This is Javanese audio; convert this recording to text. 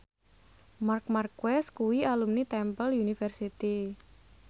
Marc Marquez kuwi alumni Temple University